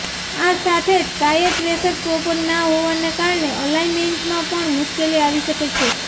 આ સાથે જ ટાયર પ્રેશર પ્રોપર ના હોવાને કારણે અલાઇન્મેન્ટમાં પણ મુશ્કેલી આવી શકે છે